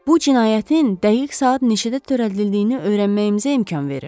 Bu cinayətin dəqiq saat neçədə törədildiyini öyrənməyimizə imkan verir.